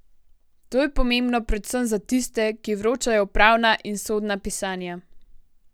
To je pomembno predvsem za tiste, ki vročajo upravna in sodna pisanja.